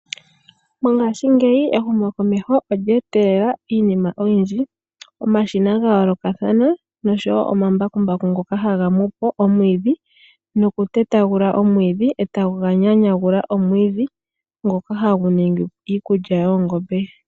Mongashingeyi ehumokomeho olya etelela iinima oyindji, omashina ga yoolokathana nosho wo omambakumbaku ngoka haga mu po omwiidhi nokutetagula omwiidhi e taga nyanyagula omwiidhi ngoka hagu ningi iikulya yoongombe.